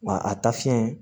Wa a ta fiɲɛ